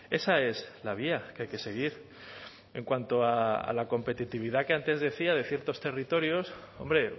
esa es la vía que hay que seguir en cuanto a la competitividad que antes decía de ciertos territorios hombre